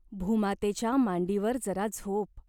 भूमातेच्या मांडीवर जरा झोप.